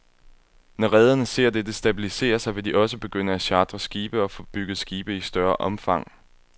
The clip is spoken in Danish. Når rederne ser dette stabilisere sig, vil de også begynde at chartre skibe og få bygget skibe i større omfang.